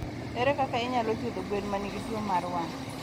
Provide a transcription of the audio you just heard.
Ere kaka inyalo thiedho gwen ma nigi tuo mar wang'?